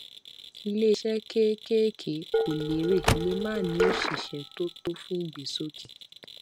iléiṣẹ kéékèèké kò lérè lè má ní òṣìṣẹ tó tó fún ìgbésókè